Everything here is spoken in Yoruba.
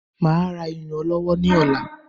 Máa ra iyùn ọlọ́wọ́ ní ọ̀la